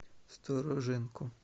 стороженко